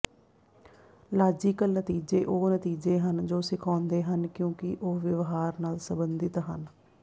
logical ਨਤੀਜੇ ਉਹ ਨਤੀਜੇ ਹਨ ਜੋ ਸਿਖਾਉਂਦੇ ਹਨ ਕਿਉਂਕਿ ਉਹ ਵਿਵਹਾਰ ਨਾਲ ਸੰਬੰਧਿਤ ਹਨ